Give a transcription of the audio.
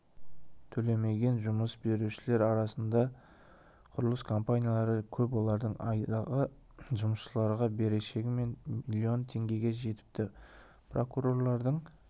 төлемеген жұмыс берушілер арасында құрылыс компаниялары көп олардың айдағы жұмысшыларға берешегі миллион теңгеге жетіпті прокурорлардың